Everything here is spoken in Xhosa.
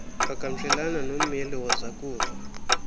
qhagamshelana nommeli wozakuzo